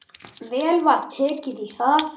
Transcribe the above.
Vel var tekið í það.